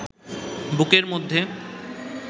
বুকের মধ্যে